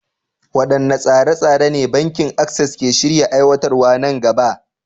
Waɗanne tsare-tsare ne Bankin Access ke shirin aiwatarwa nan gaba?